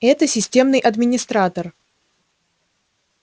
это системный администратор